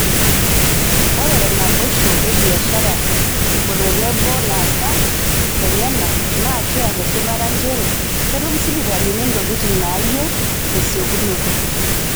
oree te naiboisho e biashara otenbo laasak lenyanak, naa kiata esipata njeere ketum sipitalini ntokitin naayieu tesiekunoto.